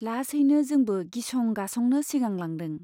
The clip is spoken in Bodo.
लासैनो जोंबो गिसं गासंनो सिगां लांदों।